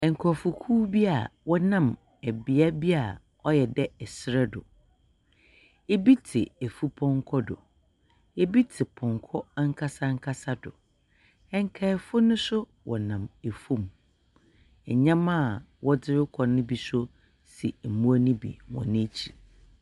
Nkorɔfokuw bi a wɔnam bea bi a ɔyɛ dɛ sar do bi tse efupɔnkɔ do, ebi tse pɔnkɔ ankasa ankasa do, nkaafo no so wɔnam famu. Ndzɛmba a wɔdze rokɔ no bi so si mbowa no bi hɔn ekyir.